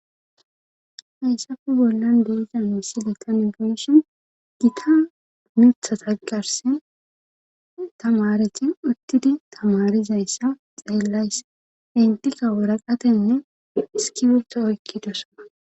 heyssafe bollan de'iza misileta tani be'ishin giita mithata garsen tamareti uttidi tamarizayssa xeellays intika woraqatenne iskibirto oykkidosana